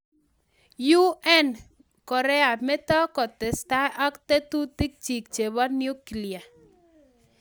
UN: Korea meto kotesetai ak tetutikchik chebo nuklia